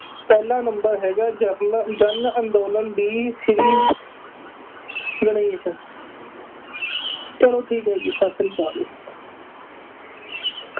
ਪਹਿਲਾਂ number ਹੈਗਾ general ਜਨ ਅੰਦੋਲਨ, ਵੀ ਸ਼੍ਰੀ ਗਣੇਸ਼ ਚੱਲੋ ਠੀਕ ਹੈ ਜੀ, ਸਤਿ ਸ੍ਰੀ ਅਕਾਲ।